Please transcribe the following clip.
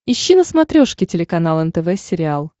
ищи на смотрешке телеканал нтв сериал